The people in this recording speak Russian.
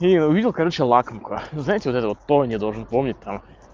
и увидел я короче лакомка кто то знаете там пони должен помнить там